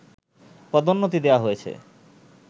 পদোন্নতি দেয়া হয়েছে